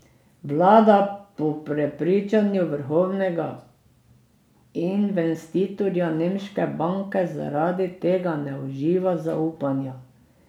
Vlada po prepričanju vrhovnega investitorja nemške banke zaradi tega ne uživa zaupanja.